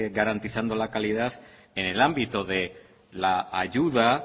garantizando la calidad en el ámbito de la ayuda